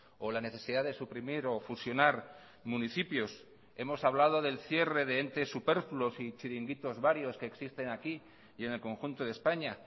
o la necesidad de suprimir o fusionar municipios hemos hablado del cierre de entes superfluos y chiringuitos varios que existen aquí y en el conjunto de españa